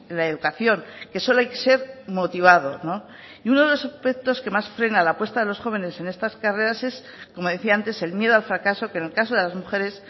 la educación que solo hay que ser motivado y uno de los aspectos que más frena la apuesta de los jóvenes en estas carreras es como decía antes el miedo al fracaso que en el caso de las mujeres